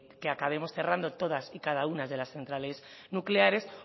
que acabemos cerrando todas y cada una de las centrales nucleares